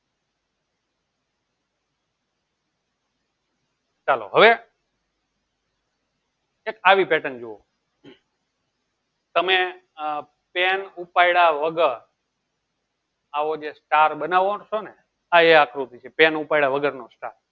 ચાલો હવે આવી pattern જોવો તમે આહ પેન ઉપાડ્યા વગર આવો જે star બનાવો છોને આ એ આકૃતિ છે pen ઉપડ્યા વગર નો star